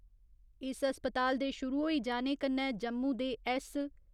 इस अस्पताल दे शुरु होई जाने कन्नै जम्मू दे ऐस्स.